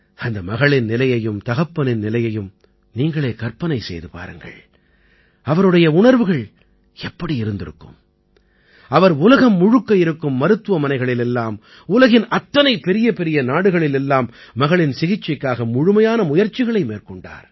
அந்த மகளின் நிலையையும் தகப்பனின் நிலையையும் நீங்களே கற்பனை செய்து பாருங்கள் அவருடைய உணர்வுகள் எப்படி இருந்திருக்கும் அவர் உலகம் முழுக்க இருக்கும் மருத்துவமனைகளில் எல்லாம் உலகின் அத்தனை பெரியபெரிய நாடுகளில் எல்லாம் மகளின் சிகிச்சைக்காக முழுமையான முயற்சிகளை மேற்கொண்டார்